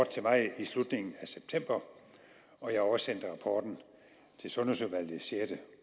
til mig i slutningen af september og jeg oversendte rapporten til sundhedsudvalget den sjette